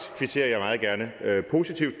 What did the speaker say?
kvitterer jeg meget gerne positivt